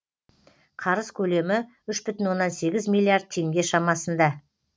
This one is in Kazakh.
қарыз көлемі үш бүтін оннан сегіз миллиард теңге шамасында